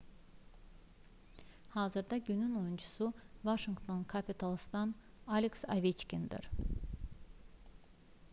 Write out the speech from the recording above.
hazırda günün oyunçusu vaşinqton kapitalsdan aleks oveçkindir